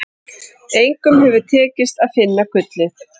Engum hefur tekist að finna gullið.